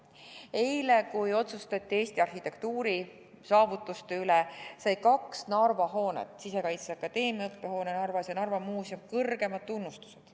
Eile, kui otsustati Eesti arhitektuurisaavutuste üle, said kaks Narva hoonet – Sisekaitseakadeemia õppehoone ja Narva Muuseum – kõrgeima tunnustuse.